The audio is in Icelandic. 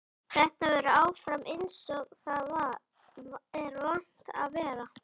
Þetta verður áfram einsog það er vant að vera.